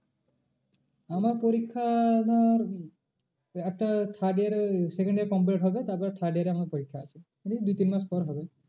আমার পরিক্ষা ধর উম একটা third year এ second year complete হবে তারপরে third year এ আমার পরিক্ষা আছে। এই দু তিন মাস পর হবে।